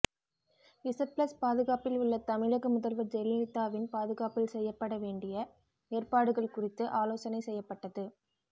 Z plus பாதுகாப்பில் உள்ள தமிழக முதல்வர் ஜெயலலிதாவின் பாதுகாப்பில் செய்யப்பட வேண்டிய ஏற்பாடுகள் குறித்து ஆலோசனை செய்யப்பட்டது